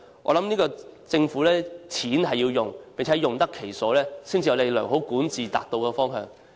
我認為政府的錢是要用的，並要用得其所才能符合良好管治的方向。